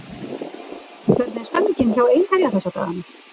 Hvernig er stemningin hjá Einherja þessa dagana?